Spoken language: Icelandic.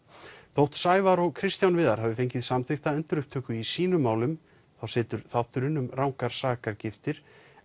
þótt Sævar og Kristján Viðar hafi fengið samþykkta endurupptöku í sínum málum þá situr þátturinn um rangar sakargiftir